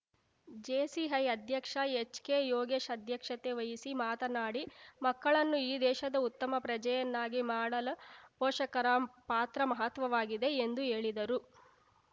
JCI ಅಧ್ಯಕ್ಷ HK Yogesh ಅಧ್ಯಕ್ಷತೆ ವಹಿಸಿ ಮಾತನಾಡಿ ಮಕ್ಕಳನ್ನು ಈ ದೇಶದ ಉತ್ತಮ ಪ್ರಜೆಯನ್ನಾಗಿ ಮಾಡಲ ಪೋಷಕರ ಪಾತ್ರ ಮಹತ್ವವಾಗಿದೆ ಎಂದು ಹೇಳಿದರು